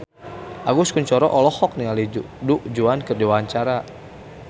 Agus Kuncoro olohok ningali Du Juan keur diwawancara